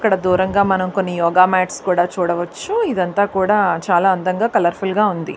ఇక్కడ దూరంగా మనం కొన్ని యోగా మ్యాట్స్ కూడ చూడవచ్చు ఇదంతా కూడా చాలా అందంగా కలర్ఫుల్గా ఉంది.